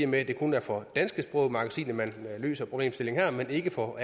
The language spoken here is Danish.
med at det kun er for dansksprogede magasiner at man løser problemstillingen her men ikke for